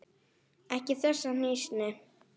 Ekki þessa hnýsni.